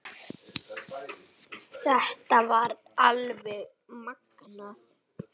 Þetta var alveg magnað!